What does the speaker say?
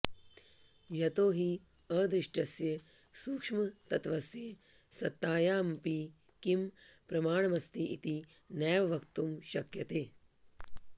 यतो हि अदृष्टस्य सूक्ष्मतत्त्वस्य सत्तायामपि किं प्रमाणमस्ति इति नैव वक्तुं शक्यते